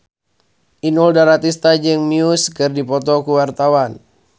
Inul Daratista jeung Muse keur dipoto ku wartawan